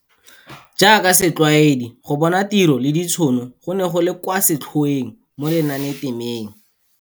Jaaka setlwaedi, go bona tiro le ditšhono go ne go le kwa setlhoeng mo lenanetemeng.